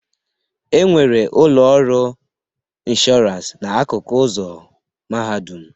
E nwere ụlọ ọrụ ịnshọransị n'akụkụ ụzọ Mahadum